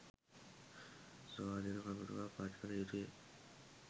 ස්වාධින කමිටුවක් පත් කල යුතුය